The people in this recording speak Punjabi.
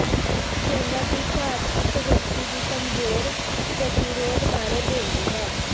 ਚੌਦਾਂ ਦੀ ਘਾਟ ਇਕ ਵਿਅਕਤੀ ਦੀ ਕਮਜ਼ੋਰ ਪ੍ਰਤੀਰੋਧ ਬਾਰੇ ਬੋਲਦੀ ਹੈ